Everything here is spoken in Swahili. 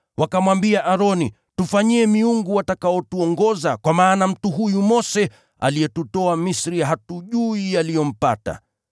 Wakamwambia Aroni, ‘Tufanyie miungu watakaotuongoza, kwa maana mtu huyu Mose aliyetutoa nchi ya Misri, hatujui yaliyompata.’